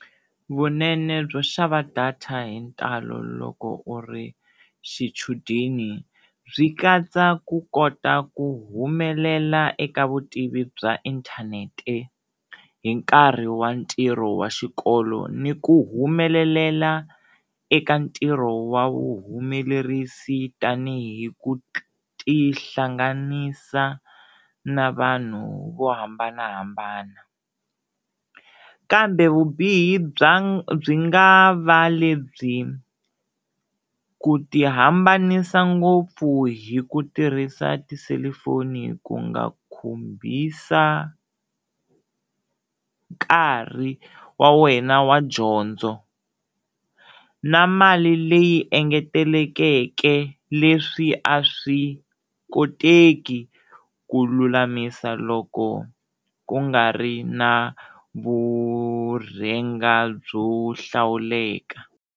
Vunene byo xava data hi ntalo loko u ri xichudeni byi katsa ku kota ku humelela eka vutivi bya inthanete hi nkarhi wa ntirho wa xikolo ni ku humelelela eka ntirho wa vu humelerisi tanihi ku tihlanganisa na vanhu vo hambanahambana, kambe vubihi bya byi nga va lebyi ku tihambanisa ngopfu hi ku tirhisa tiselufoni ku nga khumbisa nkarhi wa wena wa dyondzo na mali leyi engetelekeke leswi a swi koteki ku lulamisa loko ku nga ri na vurhenga byo hlawuleka.